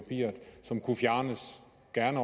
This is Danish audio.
den